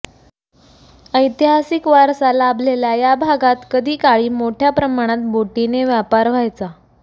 ऐतिहासिक वारसा लाभलेल्या या भागात कधी काळी मोठ्या प्रमाणात बोटीने व्यापार व्हायचा